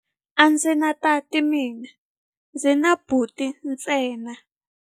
A ndzi na tati mina, ndzi na buti ntsena.